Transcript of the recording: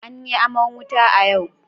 An yi aman wuta a yau.